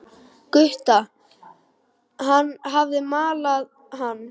Gutta, hann hafði malað hann.